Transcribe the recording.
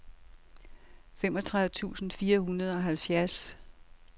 femogtredive tusind fire hundrede og halvfjerds